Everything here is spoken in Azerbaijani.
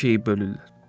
Hər şeyi bölürlər.